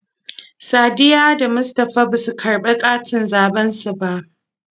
Sadiyya da Mustapha basu karɓi katin zaɓen su ba.